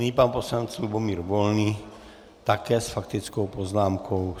Nyní pan poslanec Lubomír Volný také s faktickou poznámkou.